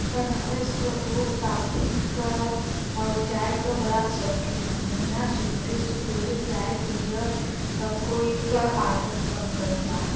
बनारस क लोग कॉफी क और चाय क बड़ा शौकीन हउवन। इहां सुबेरे सुबेरे चाय पिय सब कोई क आदत बन गईल बा।